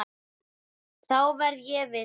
Þá verð ég við þeim.